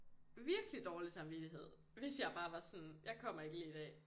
Virkelig dårlig samvittighed hvis jeg bare var sådan jeg kommer ikke lige i dag